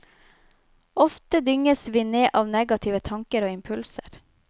Ofte dynges vi ned av negative tanker og impulser.